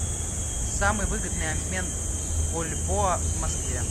самый выгодный обмен бальбоа в москве